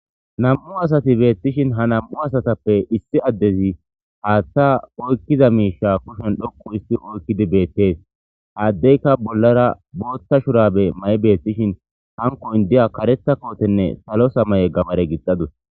nam7u asati beettishin ha nam7u asatappe issi addezi haaththa oykkiza miisha kushen dhokqu isti oykkidi beettees haaddeyka bollara boothta shurabe may7i beettishin hankoyn diya karetha kootenne salo samaye gabare gixxadus